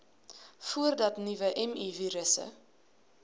voordat nuwe mivirusse